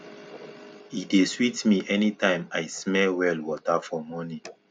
e dey sweet me anytime i smell well water for morning